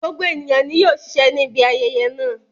Gbogbo ènìyàn ni yóò ṣiṣẹ́ ní ibi ayẹyẹ náà